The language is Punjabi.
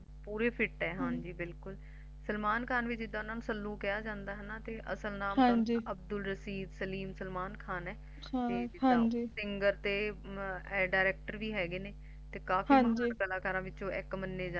ਪੂਰੇ Fit ਹੈ ਹਾਂਜੀ ਬਿਲਕੁਲ ਸਲਮਾਨ ਖਾਣ ਵੀ ਜਿੱਦਾ ਸਲੂ ਕਿਹਾ ਜੰਦਾ ਹੈਨਾ ਤੇ ਅਸਲ ਨਾਮ ਅਬਦੁਲ ਸਲੀਮ ਸਲਮਾਨ ਖਾਨ ਹੈ ਤੇ Singer ਤੇ Director ਵੀ ਹੈਗੇ ਨੇ ਤੇ ਕਾਫੀ ਮਸ਼ਹੂਰ ਕਲਾਕਾਰ ਵਿੱਚੋ ਇਕ ਮੰਨੇ ਜਨਦੇ ਨੇ